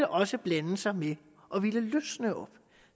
også blande sig med at ville løsne op